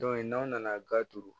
n'aw nana ga turu